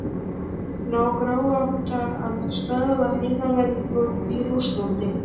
Ná Króatar að stöðva heimamenn í Rússlandi?